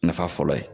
Nafa fɔlɔ ye